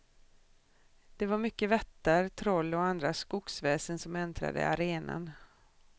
Det var mycket vättar, troll och andra skogsväsen som äntrade arenan.